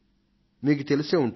మీకు తెలిసే ఉంటుంది